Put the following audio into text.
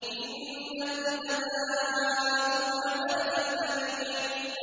إِنَّكُمْ لَذَائِقُو الْعَذَابِ الْأَلِيمِ